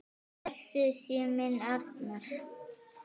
Blessuð sé minning Arnar.